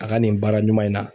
A ka nin baara ɲuman in na.